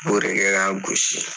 B'o de kɛ k'a gosi .